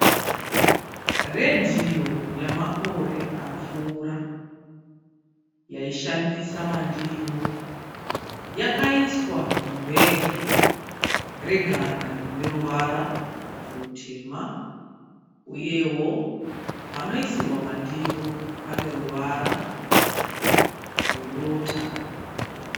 Redhiyo yamakore apfuura yaishandisa mandiro. Yakaiswa mubhegi reganda rineruvara rutema uyewo panoisirwa mandiro paneruvara rwedota.